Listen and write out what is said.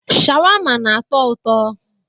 Sháwámá na-atọ ụtọ.